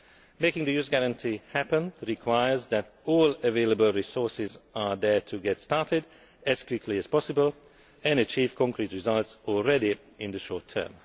Making the Youth Guarantee happen requires that all available resources are there to get started as quickly as possible and achieve concrete results, already in the short term.